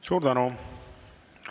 Suur tänu!